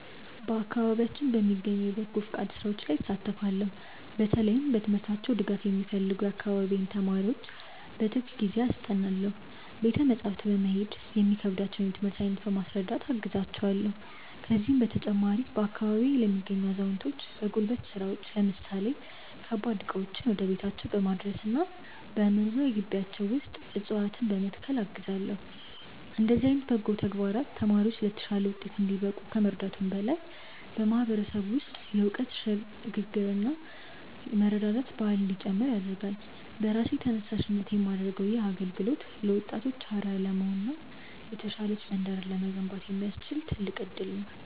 በአካባቢያችን በሚገኙ የበጎ ፈቃድ ሥራዎች ላይ እሳተፋለው። በተለይም በትምህርታቸው ድጋፍ የሚፈልጉ የአካባቢዬን ተማሪዎች በትርፍ ጊዜዬ አስጠናለው። ቤተ መጻሕፍት በመሄድ የሚከብዳቸውን የትምህርት አይነት በማስረዳት አግዛቸዋለው። ከዚህም በተጨማሪ፣ በአካባቢዬ ለሚገኙ አዛውንቶች በጉልበት ሥራዎች ለምሳሌ ከባድ ዕቃዎችን ወደ ቤታቸው በማድረስና በመኖሪያ ግቢያቸው ውስጥ ዕፅዋትነ በመትከል አግዛለው። እንዲህ ዓይነት በጎ ተግባራት ተማሪዎች ለተሻለ ውጤት እንዲበቁ ከመርዳቱም በላይ፣ በማህበረሰቡ ውስጥ የእውቀት ሽግ ግርና የመረዳዳት ባህል እንዲጨምር ያደርጋል። በራሴ ተነሳሽነት የማደርገው ይህ አገልግሎት ለወጣቶች አርአያ ለመሆንና የተሻለች መንደርን ለመገንባት የሚያስችል ትልቅ እድል ነው።